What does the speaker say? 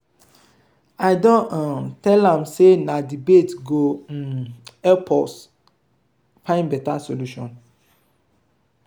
i don um tell am sey na debate go um help us find beta solution.